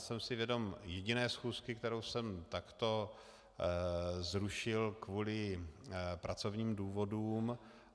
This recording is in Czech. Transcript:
Jsem si vědom jediné schůzky, kterou jsem takto zrušil kvůli pracovním důvodům.